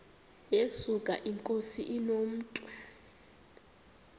yesuka inkosi inomntu